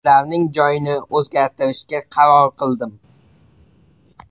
Ularning joyini o‘zgartirishga qaror qildim.